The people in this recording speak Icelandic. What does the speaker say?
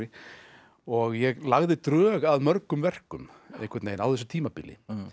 og ég lagði drög að mörgum verkum á þessu tímabili